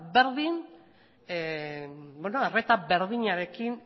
arreta berdinarekin